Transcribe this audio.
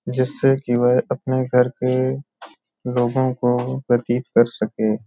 जिससे की वह अपने घर के लोगों को परिचित कर सकें।